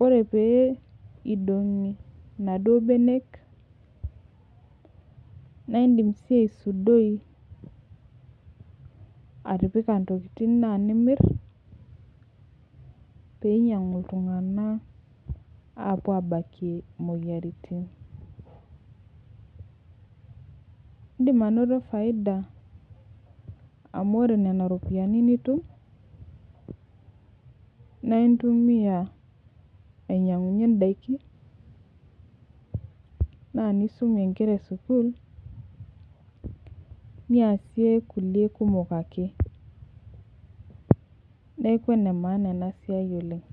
ore pidongi naduo benek naindim aisudoi atipika ntokitin na nimir peinyangu ltunganak apuo abakie moyiaritin indim ainoto faida amu ore nona ropiyiani nitum naintumia ainyangunyie ndakin na nisumie nkera esukul niasie nkulie kumok ake neaku enemaaana enasia oleng